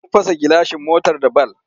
Sun fast gilashin motar da bal.